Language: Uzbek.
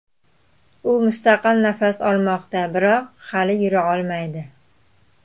U mustaqil nafas olmoqda, biroq hali yura olmaydi.